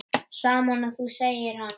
Sama og þú, segir hann.